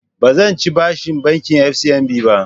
Ba zan ci bashin bankin FCMB ba